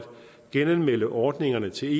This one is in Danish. genanmelde ordningerne til